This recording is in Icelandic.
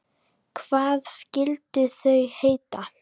Hvað skyldu þau heita?